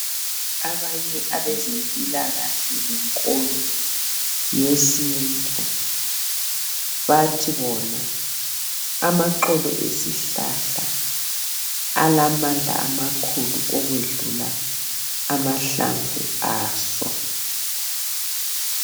Abanye abezempilakahle lenkolo yesintu bathi bona amaxolo esihlahla alamandla amakhulu okwedlula amahlamvu aso.